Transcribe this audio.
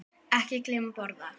Ekki gleyma að borða.